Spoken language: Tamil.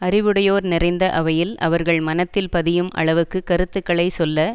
அறிவுடையோர் நிறைந்த அவையில் அவர்கள் மனத்தில் பதியும் அளவுக்கு கருத்துக்களை சொல்ல